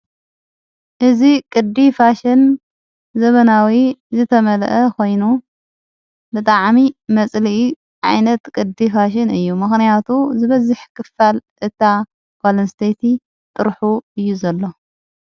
እዝ ቅዲ ፋሽን ዘበናዊ ዝተመልአ ኾይኑ ብጥዓሚ መጽሊኢ ዓይነት ቅዲ ፋሽን እዩ መኽንያቱ ዝበዚሕ ክፋል እታ ጓልንስተይቲ ጥርሑ እዩ ዘሎ።